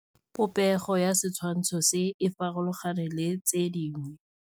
Popêgo ya setshwantshô se, e farologane le tse dingwe.